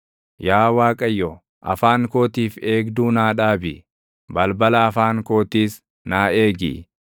Yaa Waaqayyo, afaan kootiif eegduu naa dhaabi; balbala afaan kootiis naa eegi.